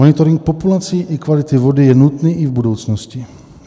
Monitoring populací i kvality vody je nutný i v budoucnosti.